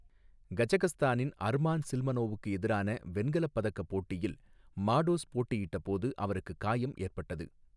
கஜகஸ்தானின் Arman சில்மனோவுக்கு எதிரான வெண்கலப் பதக்க போட்டியில் மாடோஸ் போட்டியிட்டபோது அவருக்கு காயம் ஏற்பட்டது.